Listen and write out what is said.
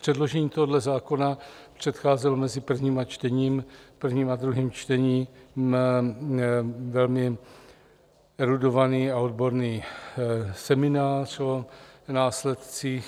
Předložení tohoto zákona předcházel mezi prvním a druhým čtením velmi erudovaný a odborný seminář o následcích.